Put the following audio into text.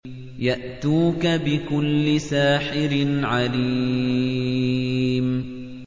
يَأْتُوكَ بِكُلِّ سَاحِرٍ عَلِيمٍ